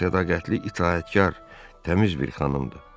O sədaqətli, itaətkar, təmiz bir xanımdır.